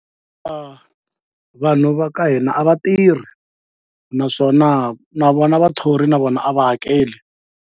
A vanhu va ka hina a va tirhi naswona na vona vathori na vona a va hakeli.